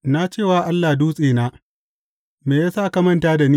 Na ce wa Allah Dutsena, Me ya sa ka manta da ni?